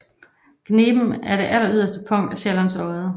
Gniben er det alleryderste punkt af Sjællands Odde